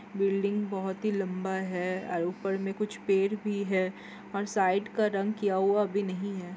Building बहोत ही लंबा है और ऊपर से कुछ पेड़ भी है और साइड का रंग किया हुआ भी नहीं है।